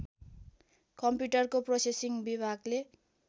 कम्प्युटरको प्रोसेसिङ विभागले